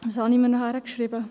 Was habe ich weiter notiert?